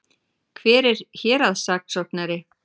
Hver er héraðssaksóknari?